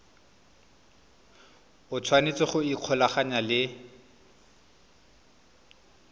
o tshwanetse go ikgolaganya le